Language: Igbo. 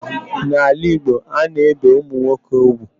N'ala Igbo, a na-ebe ụmụnwoke ugwu.